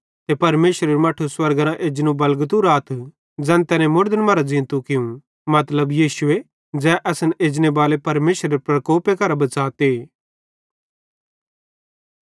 ते तैसेरू मट्ठू स्वर्गेरां वापस एजने बलगते राथ ज़ैन तैने मुड़दन मरां ज़ींतो कियूं मतलब यीशुए ज़ै असन एजनेबाले परमेशरेरे प्रकोपे करां बच़ाते